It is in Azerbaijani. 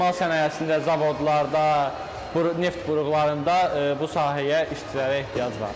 Emal sənayesində, zavodlarda, neft-quruqlarında bu sahəyə işçilərə ehtiyac var.